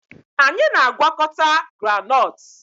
Anyị na-agwakọta groundnut